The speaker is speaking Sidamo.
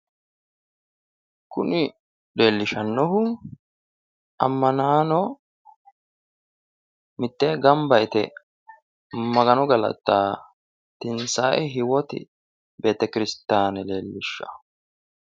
Kuni leellishshannohu ammanaano mittee gamba yite magano galaxxanna tinsae hiywooti beetekirisitiyaane leellishshawo.